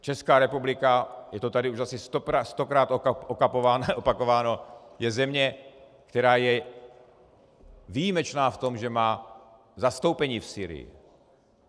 Česká republika, je to tady už asi stokrát opakováno, je země, která je výjimečná v tom, že má zastoupení v Sýrii.